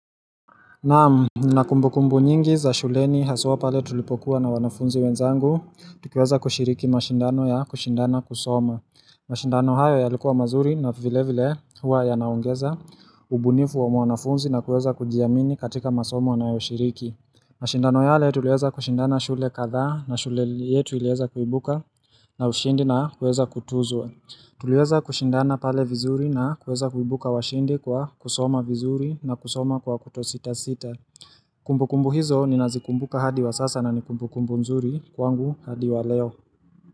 Naam nina kumbukumbu nyingi za shuleni haswa pale tulipokuwa na wanafunzi wenzangu, tukiweza kushiriki mashindano ya kushindana kusoma. Mashindano hayo ya likuwa mazuri na vile vile huwa ya naongeza ubunifu wa wanafunzi na kueza kujiamini katika masomo wanayoshiriki. Mashindano yale tuliweza kushindana shule kadhaa na shule yetu ilieza kuibuka na ushindi na kueza kutuzwa. Tuliweza kushindana pale vizuri na kuweza kuibuka washindi kwa kusoma vizuri na kusoma kwa kuto sita sita Kumbu kumbu hizo ni nazikumbuka hadi wa sasa na nikumbu kumbu mzuri kwangu hadi wa leo.